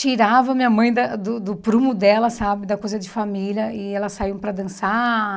tirava minha mãe da do do prumo dela, sabe da coisa de família, e elas saíam para dançar.